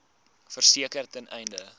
verseker ten einde